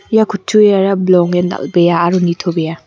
ia kutturiara bilongen dal·bea aro nitobea.